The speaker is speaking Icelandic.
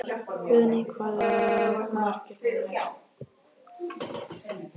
Guðný: Hvað eru það margir mánuðir?